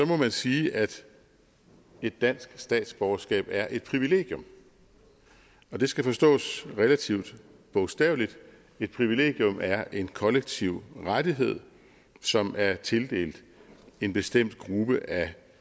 må man sige at et dansk statsborgerskab er et privilegium det skal forstås relativt bogstaveligt et privilegium er en kollektiv rettighed som er tildelt en bestemt gruppe af